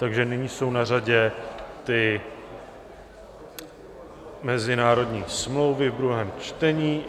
Takže nyní jsou na řadě ty mezinárodní smlouvy v druhém čtení.